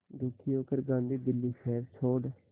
दुखी होकर गांधी दिल्ली शहर छोड़